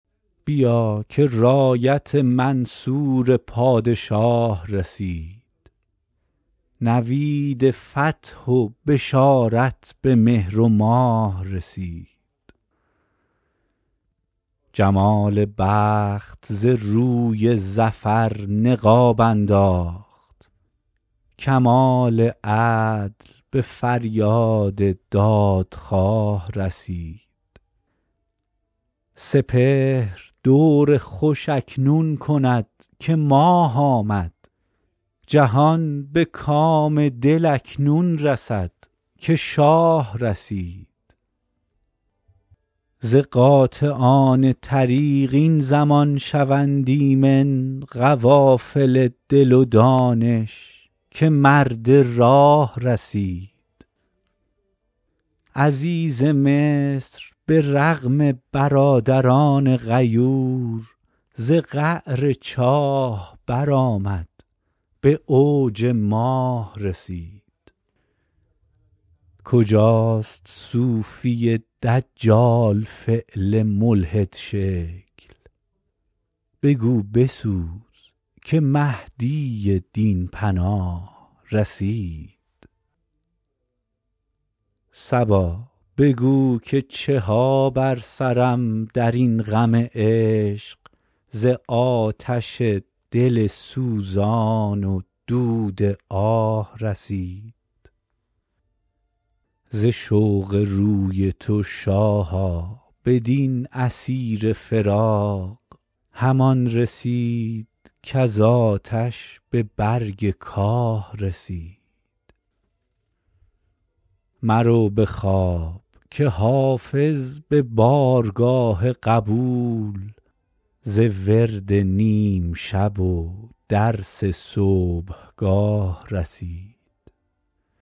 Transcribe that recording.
بیا که رایت منصور پادشاه رسید نوید فتح و بشارت به مهر و ماه رسید جمال بخت ز روی ظفر نقاب انداخت کمال عدل به فریاد دادخواه رسید سپهر دور خوش اکنون کند که ماه آمد جهان به کام دل اکنون رسد که شاه رسید ز قاطعان طریق این زمان شوند ایمن قوافل دل و دانش که مرد راه رسید عزیز مصر به رغم برادران غیور ز قعر چاه برآمد به اوج ماه رسید کجاست صوفی دجال فعل ملحدشکل بگو بسوز که مهدی دین پناه رسید صبا بگو که چه ها بر سرم در این غم عشق ز آتش دل سوزان و دود آه رسید ز شوق روی تو شاها بدین اسیر فراق همان رسید کز آتش به برگ کاه رسید مرو به خواب که حافظ به بارگاه قبول ز ورد نیم شب و درس صبحگاه رسید